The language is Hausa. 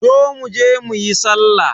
Zo mu je mu yi sallah.